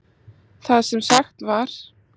Það sem sagt var